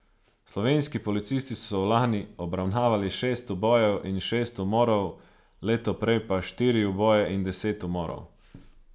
Slovenski policisti so lani obravnavali šest ubojev in šest umorov, leto prej pa štiri uboje in deset umorov.